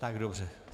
Tak dobře.